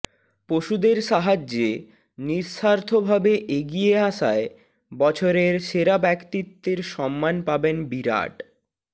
পশুদের সাহায্যে নিঃস্বার্থভাবে এগিয়ে আসায় বছরের সেরা ব্যক্তিত্বের সম্মান পাবেন বিরাট